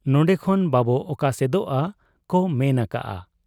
ᱱᱚᱰᱮ ᱠᱷᱚᱱ ᱵᱟᱵᱚ ᱚᱠᱟᱥᱮᱫᱚᱜ ᱟ ᱠᱚ ᱢᱮᱱ ᱟᱠᱟᱜ ᱟ ᱾